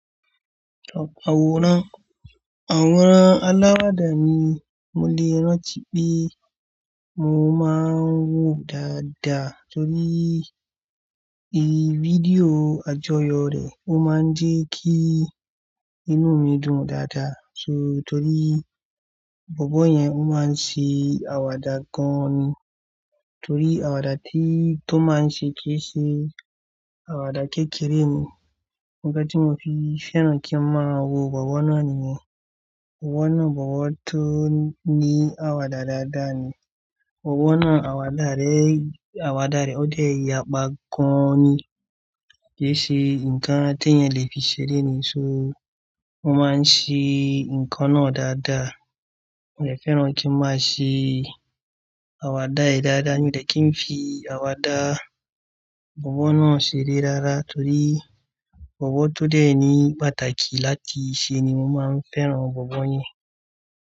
Àwòrán, àwòrán alàwàdà ni mo lè rántí pé mo máa ń wò dáadáa torí i fídíò àjọyọ̀ rẹ̀, ó máa ń jẹ́ kí inú mi dùn dáadáa. So torí bọ̀bọ́ yẹn ó máa ń ṣe àwàdà gan ni. Torí àwàdà tí tó máa ń ṣe kì í ṣe àwàdà kékeré ni. Mo gbọ́ pé mo fi fẹ́ràn kí n máa wo bọ̀bọ́ náà nìyẹn. Bọ̀bọ́ náà, bọ̀bọ́ tó ní àwàdà dáadáa ni. Bọ̀bọ́ náà àwàdà rẹ̀, àwàdà rẹ̀ ó dẹ̀ yàpá gan ni. Kì í ṣe nǹkan atẹ́yẹn lè fi ṣeré ni, so wọ́n máa ń ṣe nǹkan náà dáadáa. Mo lè fẹ́ràn kí wọ́n máa ṣe àwàdà rẹ̀ dáadáa níbi tí n fi àwàdà bọ̀bọ́ náà ṣeré rárá torí bọ̀bọ́ tó dẹ̀ ní pàtàkì láti ṣe ni mo máa ń fẹ́ràn bọ̀bọ́ yẹn.